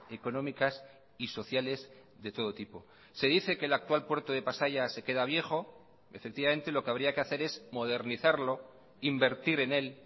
económicas y sociales de todo tipo se dice que el actual puerto de pasaia se queda viejo efectivamente lo que habría que hacer es modernizarlo invertir en él